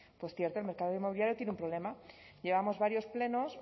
pues cierto el mercado inmobiliario tiene un problema llevamos varios plenos